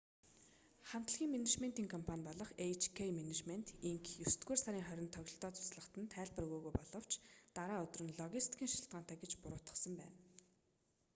хамтлагийн менежментийн компани болох эйч-кэй менежмент инк есдүгээр сарын 20-нд тоглолтоо цуцлахад нь тайлбар өгөөгүй боловч дараа өдөр нь логистикийн шалтгаантай гэж буруутгасан байна